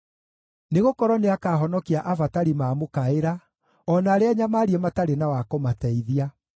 Nĩgũkorwo nĩakahonokia abatari maamũkaĩra, o na arĩa anyamaarie matarĩ na wa kũmateithia.